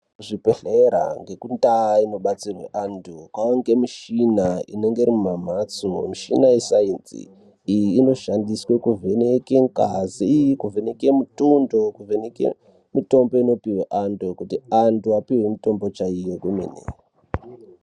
Kuzvibhedhlera ngekundau inobatsirwe vanthu, kwave nemichina inenge iri mumamphatso. Michina yesainzi, iyi inoshande kuvheneka ngazi, kuvheneke mutundo, kuvheneke mitombo inopuwa anthu kuti anthu apiwe mitombo chaiyo yemene.